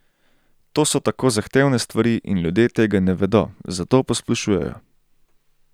To so tako zahtevne stvari in ljudje tega ne vedo, zato posplošujejo.